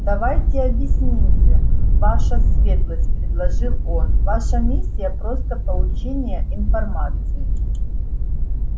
давайте объяснимся ваша светлость предложил он ваша миссия просто получение информации